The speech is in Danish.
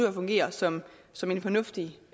at fungere som som en fornuftig